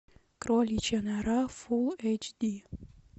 кроличья нора фулл эйч ди